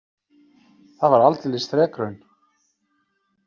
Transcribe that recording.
Það var aldeilis þrekraun.